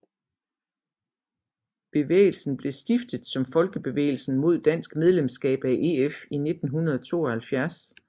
Bevægelsen blev stiftet som Folkebevægelsen mod dansk medlemskab af EF i 1972